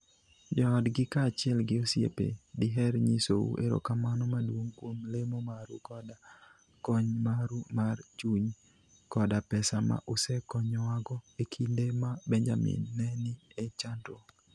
Joodgi kaachiel gi osiepe diher nyisou erokamano maduong' kuom lemo maru koda kony maru mar chuny koda pesa ma usekonyowago e kinde ma Benjamin ne ni e chandruok.